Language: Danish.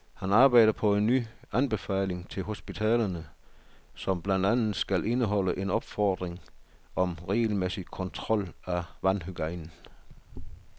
Han arbejder på en ny anbefaling til hospitalerne, som blandt andet skal indeholde en opfordring om regelmæssig kontrol af vandhygiejnen.